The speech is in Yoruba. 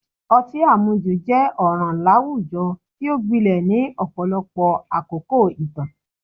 Ọtí àmujù jẹ́ ọ̀ràn láwùjọ tí ó gbilẹ̀ ní ọ̀pọ̀lọpọ̀ àkókò ìtàn